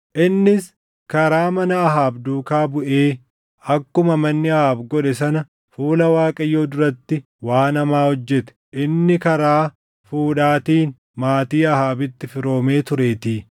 Innis karaa mana Ahaab duukaa buʼee, akkuma manni Ahaab godhe sana fuula Waaqayyoo duratti waan hamaa hojjete; inni karaa fuudhaatiin maatii Ahaabitti firoomee tureetii.